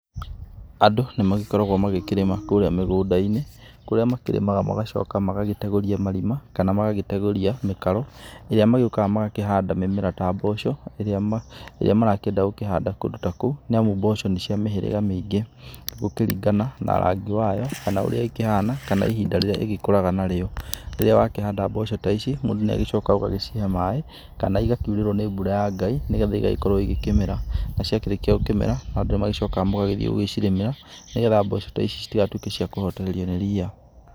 Andũ nĩmagĩkoragwo magĩkĩrĩma kũrĩa mĩgũnda-inĩ, kũrĩa makĩrĩmaga magacoka magagĩtegũria marima, kana magagĩtegũria mĩkaro, ĩrĩa magĩũkaga magakĩhanda mĩmera ta mboco, ĩrĩa ma ĩrĩa marakĩenda gũkĩhanda kũndũ ta kũu; niamu mboco nĩcia mĩhĩrĩga mĩingĩ gũkĩringana na rangi wayo, kana ũrĩa ĩkĩhana, kana ihinda rĩrĩa ĩgĩkuraga narĩo. Rĩrĩa wakĩhanda mboco ta ici, mũndũ nĩagĩcokaga ũgagĩcihe maaĩ, kana igakiurĩrwo nĩ mbura ya Ngai, nĩ getha igagĩkorwo igĩkĩmera. Na ciakĩrĩkia gũkĩmera, andũ nĩmagĩcokaga mũgagĩthiĩ gũgĩcirĩmĩra, nĩ getha mboco ta ici citigatũĩke cia kũhotererio nĩ riia.